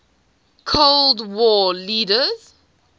cold war leaders